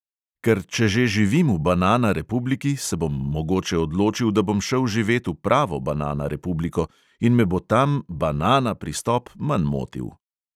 Ker če že živim v "banana republiki", se bom mogoče odločil, da bom šel živet v pravo banana republiko in me bo tam "banana" pristop manj motil.